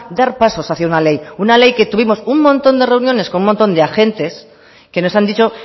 dar pasos hacia una ley una ley que tuvimos un montón de reuniones con un montón de agentes que nos han dicho